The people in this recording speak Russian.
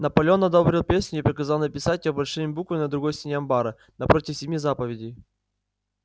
наполеон одобрил песню и приказал написать её большими буквами на другой стене амбара напротив семи заповедей